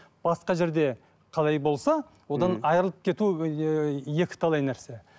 басқа жерде қалай болса одан айырылып кету екіталай нәрсе